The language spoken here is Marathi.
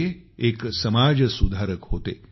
ते एक समाज सुधारक होते